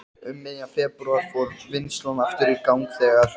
Um miðjan febrúar fór vinnslan aftur í gang þegar